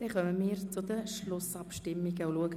Somit kommen wir zu den Schlussabstimmungen.